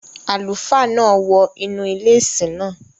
Àlùfáà náà wọ inú ilé ìsìn náà.